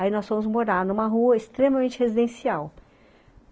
Aí nós fomos morar numa rua extremamente residencial.